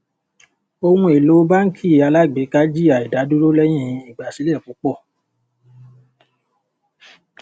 ohun èlò báńkì alágbèéká jìyà ìdádúró lẹ́yìn ìgbàsílẹ̀ púpọ̀.